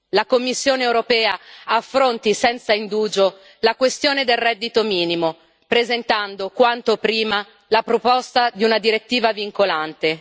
La Commissione europea affronti senza indugio la questione del reddito minimo, presentando quanto prima la proposta di una direttiva vincolante.